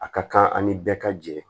A ka kan ani bɛɛ ka jɛ